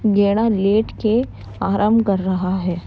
गेड़ा लेट के आराम कर रहा है।